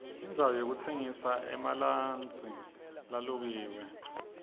indzawo yokutsengisa emalansi lalukiwe